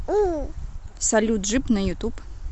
салют джип на ютуб